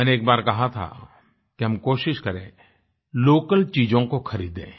मैंने एक बार कहा था कि हम कोशिश करें लोकल चीजों को खरीदें